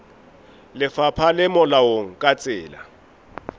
lefapha le molaong ka tsela